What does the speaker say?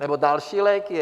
Nebo další léky?